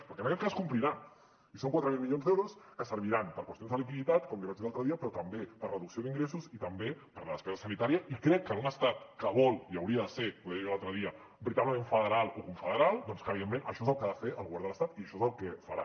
perquè en aquest cas complirà i són quatre mil milions d’euros que serviran per a qüestions de liquiditat com li vaig dir l’altre dia però també per a reducció d’ingressos i també per a la despesa sanitària i crec que en un estat que vol i hauria de ser ho deia jo l’altre dia veritablement federal o confederal doncs evidentment això és el que ha de fer el govern de l’estat i això és el que farà